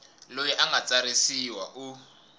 loyi a nga tsarisiwa u